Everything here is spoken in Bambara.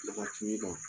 Waati min na